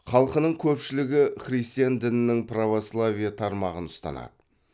халқының көпшілігі христиан дінінің православие тармағын ұстанады